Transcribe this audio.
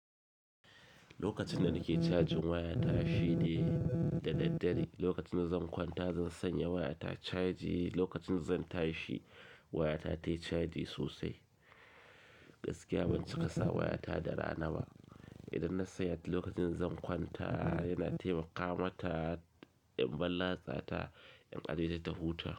Lokacin da nake cajin waya ta shi ne da daddare. Lokacin da zan kwanta zan sanya waya ta caji, lokacin da zan tashi waya ta tayi caji sosai. Gaskiya ban cika sa waya ta da rana ba. Idan na sanya ta lokacin zan kwanta yana taimaka mata in balatsa ta, in ajiye ta ta huta.